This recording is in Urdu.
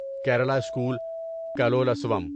کیرالہ اسکول کلولسوم